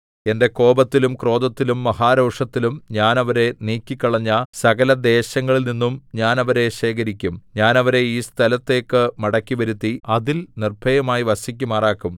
എന്റെ കോപത്തിലും ക്രോധത്തിലും മഹാരോഷത്തിലും ഞാൻ അവരെ നീക്കിക്കളഞ്ഞ സകലദേശങ്ങളിൽനിന്നും ഞാൻ അവരെ ശേഖരിക്കും ഞാൻ അവരെ ഈ സ്ഥലത്തേക്ക് മടക്കിവരുത്തി അതിൽ നിർഭയമായി വസിക്കുമാറാക്കും